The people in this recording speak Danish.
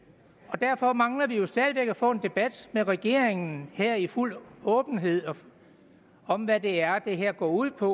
derfor mangler vi jo stadig væk at få en debat med regeringen her i fuld åbenhed om hvad det er det her går ud på